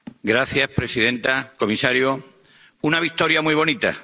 Señora presidenta, comisario, una victoria muy bonita.